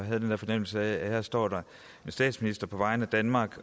og havde den der fornemmelse af at her står der en statsminister der på vegne af danmark